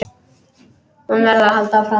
Hún verður að halda áfram.